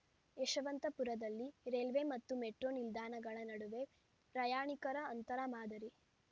ಯಶವಂತಪುರದಲ್ಲಿ railway ಮತ್ತು metro ನಿಲ್ದಾಣಗಳ ನಡುವೆ ಪ್ರಯಾಣಿಕರ ಅಂತರ ಮಾದರಿ